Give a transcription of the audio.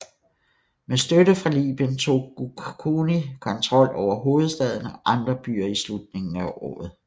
Med støtte fra Libyen tog Goukouni kontroll over hovedstaden og andre byer i slutningen af året